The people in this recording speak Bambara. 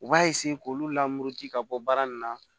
U b'a k'olu lamuru ji ka bɔ baara nin na